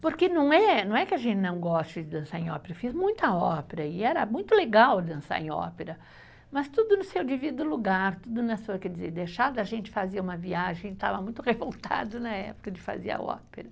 Porque não é, não é que a gente não goste de dançar em ópera, eu fiz muita ópera e era muito legal dançar em ópera, mas tudo no seu devido lugar, tudo na sua, quer dizer, deixado a gente fazer uma viagem, estava muito revoltado na época de fazer a ópera.